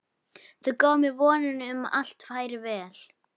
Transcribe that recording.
Þau gefa mér vonina um að allt fari vel.